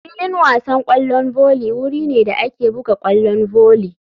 Filin wasan kwallon volley wuri ne da ake buga kwallon volley.